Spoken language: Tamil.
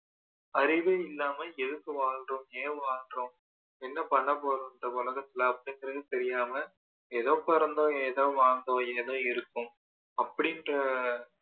அறிவே இல்லாம எதுக்கு வாழ்றோம் ஏன் வாழ்றோம் என்ன பண்ன போறோம் இந்த உலகத்துல அப்படிங்குறது தெரியாம ஏதோ பொறந்தோம் ஏதோ வாழ்ந்தோம் ஏதோ இருக்கோம் அப்படின்ற